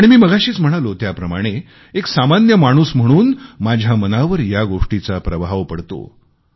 आणि मी मगाशीच म्हणालो त्याप्रमाणे एक सामान्य माणूस म्हणून माझ्या मनावर या गोष्टीचा प्रभाव पडतो